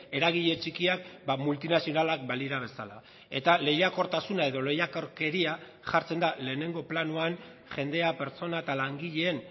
eragile txikiak multinazionalak balira bezala eta lehiakortasuna edo lehiakorkeria jartzen da lehenengo planoan jendea pertsona eta langileen